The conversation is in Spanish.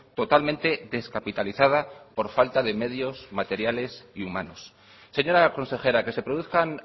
totalmente descapitalizada por falta de medios materiales y humanos señora consejera que se produzcan